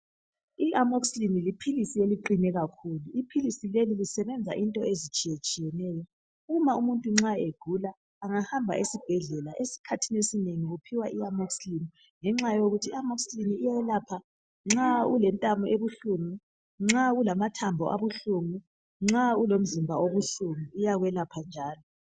I amoxicillin liphilisi eliqine kakhulu. Iphilisi leli, lisebenza into ezitshiyetshiyeneyo. Uma umuntu nxa egula, angahamba esibhedlela esikhathini esinengi uphiwa iamoxicillin ngenxa yokuthi iamoxicillin iyelapha nxa ulentamo ebuhlungu, nxa ulamathambo abuhlungu ,nxa ulomzimba obuhlungu, iyakwelapha njalo.